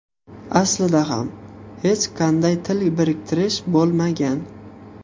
Aslida ham hech qanday til biriktirish bo‘lmagan.